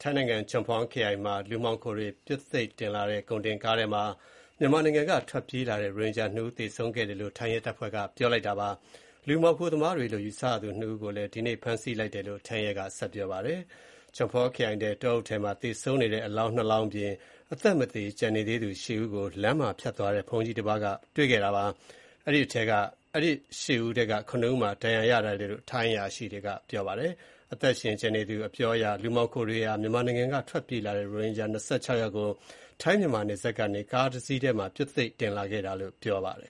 ထိုင်းနိုင်ငံ Chumphon ခရိုင်မှာ လူမှောင်ခိုတွေ ပြွတ်သိပ်တင်လာတဲ့ ကုန်တင်ကားထဲမှာ မြန်မာနိုင်ငံက ထွက်ပြေးလာတဲ့ ရိုဟင်ဂျာ ၃ ဦး သေဆုံးခဲ့တယ်လို့ ထိုင်းရဲတပ်ဖွဲ့က ပြောပါတယ်။ လူမှောင်ခိုသမားတွေလို့ ယူဆရသူ နှစ်ဦးကိုလည်း ဒီကနေ့ ဖမ်းဆီးလိုက်တယ်လို့လည်း ထိုင်းရဲက ပြောပါတယ်။ Chumphon ခရိုင်ထဲက တောအုပ်ထဲမှာ သေဆုံးနေတဲ့ အလောင်းနှစ်လောင်းအပြင် အသက်မသေ ကျန်နေသေးသူ ၈ ဦးကို လမ်းမှာဖြတ်သွားတဲ့ ဘုန်းကြီးတပါးက တွေ့ခဲ့တာပါ။ အဲဒီ ၈ ဦးထဲက ၇ ဦးမှာ ဒဏ်ရာရထားတယ်လို့ ရဲအရာရှိတွေက ပြောပါတယ်။ အသက်ရှင်ကျန်နေသူ အပြောအရ လူမှောင်ခိုတွေဟာ မြန်မာနိုင်ငံကနေ ထွက်ပြေးလာတဲ့ ရိုဟင်ဂျာ ၂၆ ယောက်ကို ထိုင်း မြန်မာနယ်စပ်ကနေ ကားတစီးထဲမှာ ပြွတ်သိပ်တင်လာခဲ့တာလို့ ပြောပါတယ်